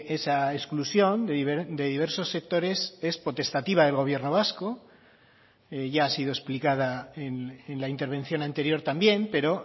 esa exclusión de diversos sectores es potestativa del gobierno vasco ya ha sido explicada en la intervención anterior también pero